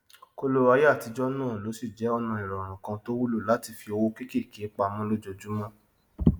kóló ayé àtijọ náà lóṣì jẹ ọnà ìrọrùn kan tó wúlò láti fí owó kékèké pamọ lojoojúmọ